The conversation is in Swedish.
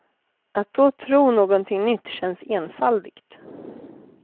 Att då tro någonting nytt känns enfaldigt.